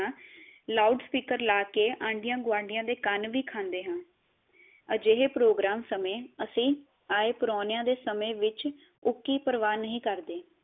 loud speaker ਲਾ ਕੇ ਆਂਡਿਆ ਗੁਆਂਡੀਆ ਦੇ ਕੰਨ ਵੀ ਖਾਂਦੇ ਹਾਂ ਅਜਿਹੇ ਪ੍ਰੋਗ੍ਰਾਮ ਸਮੇ ਅਸੀਂ ਆਏ ਪ੍ਰਾਉਣੇਆ ਦੇ ਸਮੇ ਵਿਚ ਉੱਕੀ ਪ੍ਰਵਾਹ ਨਹੀ ਕਰਦੇ